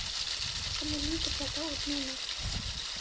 Hvernig lítur þetta út núna?